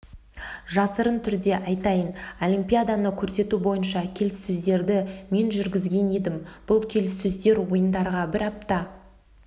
жасырын түрде айтайын олимпиаданы көрсету бойынша келіссөздерді мен жүргізген едім бұл келіссөздер ойындарға бір апта